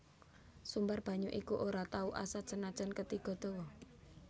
Sumber banyu iku ora tau asat senajan ketiga dawa